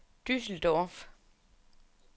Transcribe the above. Düsseldorf